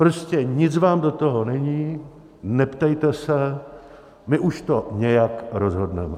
Prostě nic vám do toho není, neptejte se, my už to nějak rozhodneme.